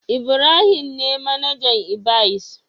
Ibrahim ne manajan ibys.